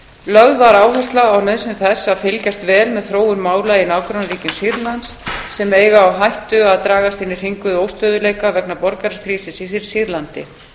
lögð var áhersla á nauðsyn þess að fylgjast vel með þróun mála í nágrannaríkjum sýrlands sem eiga á hættu að dragast inn í hringiðu óstöðugleika vegna borgarastríðsins í sýrlandi